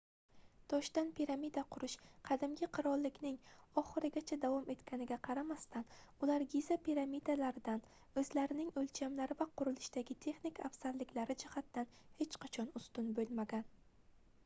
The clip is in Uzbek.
toshdan piramida qurish qadimgi qirollikning oxirigacha davom etganligiga qaramasdan ular giza piramidalaridan oʻzlarining oʻlchamlari va qurilishdagi texnik afzalliklari jihatidan hech qachon ustun boʻlmagan